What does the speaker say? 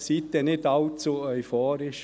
Seien Sie nicht allzu euphorisch.